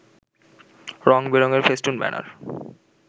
রং-বেরং এর ফেস্টুন-ব্যানার